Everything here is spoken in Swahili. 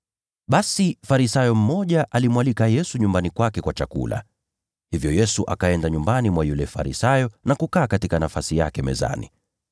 Basi Farisayo mmoja alimwalika Yesu nyumbani kwake kwa chakula. Hivyo Yesu akaenda nyumbani mwa yule Farisayo na kukaa katika nafasi yake mezani.